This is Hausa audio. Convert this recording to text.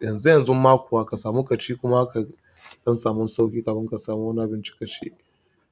yanzu yanzu. Ma kuwa ka samu ƙaci kuma ka don samun sauƙi kafin ka samu wani abinci ka ci.